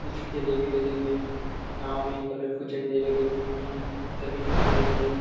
कुछ ठेले भी लगे हुए हैं नाव में कलरफूल झंडे दिख रहे हैं जमीन दिख रही है।